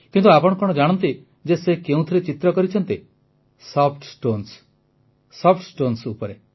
କିନ୍ତୁ ଆପଣ କଣ ଜାଣନ୍ତି ଯେ ସେ କେଉଁଥିରେ ଚିତ୍ର କରିଛନ୍ତି ସଫ୍ଟ ଷ୍ଟୋନ୍ସ ସଫ୍ଟ ଷ୍ଟୋନ୍ସ ଉପରେ